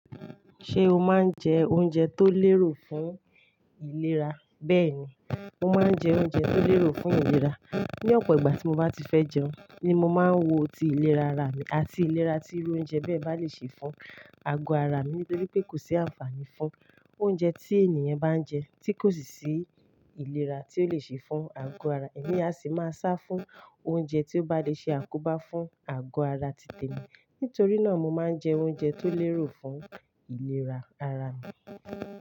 Ṣé o máa ń jẹ oúnjẹ tó lérò fún ìlera? Bẹ́ẹ̀ni, mo máa ń jẹ oúnjẹ tó lérò fún ìlera. Ni ọ̀pọ̀ ìgbà tí mo bá ti fẹ́ jẹun ni mo máa ń wo ti ìlera ara mi àti ìlera tí oúnjẹ bẹ́ẹ̀ bá le ṣe fún àgọ́ ara mi. Nítorí pé kò sí àǹfààní fún oúnjẹ tí ènìyàn bá ń jẹ tí kò sì sí ìlera tí ó lè ṣe fún àgọ́ ara. Ẹ̀mi a sì máa sá fún oúnjẹ tí ó bá le ṣe àkóbá fún àgọ́ ara títè mi. Nítorí náà mo máa ń jẹ oúnjẹ tó lérò fún ìlera ara mi.